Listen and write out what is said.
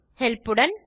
help உடன்